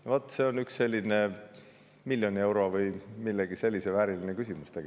No vot, see on üks miljoni euro või millegi sellise vääriline küsimus.